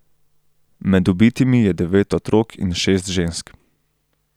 Med ubitimi je devet otrok in šest žensk.